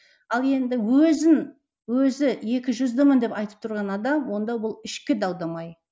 ал енді өзін өзі екіжүздімін деп айтып тұрған адам онда ол ішкі дау дамай